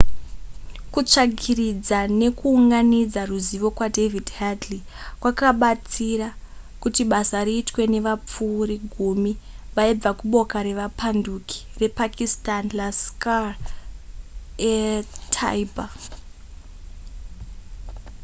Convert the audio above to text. kutsvagiridza nekuunganidza ruzivo kwadavid headley kwakabatsira kuti basa riitwe nevapfuri gumi vaibva kuboka revapanduki repakistani laskhar-e-taiba